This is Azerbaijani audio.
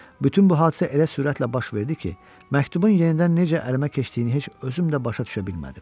Bütün bu hadisə elə sürətlə baş verdi ki, məktubun yenidən necə əlimə keçdiyini heç özüm də başa düşə bilmədim.